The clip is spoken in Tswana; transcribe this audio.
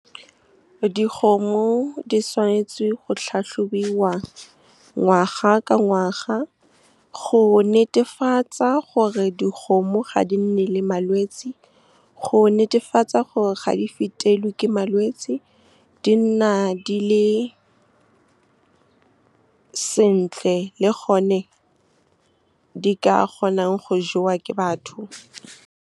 Dikgomo di tshwanetse go tlhatlhobiwa ngwaga ka ngwaga, go netefatsa gore dikgomo ga di nne le malwetse, go netefatsa gore ga di fetelwe ke malwetse, di nna di le sentle le gone ka di ka kgonang go jewa ke batho. Dikgomo di tshwanetse go tlhatlhobiwa ngwaga ka ngwaga, go netefatsa gore dikgomo ga di nne le malwetse, go netefatsa gore ga di fetelwe ke malwetse, di nna di le sentle le gone ka di ka kgonang go jewa ke batho.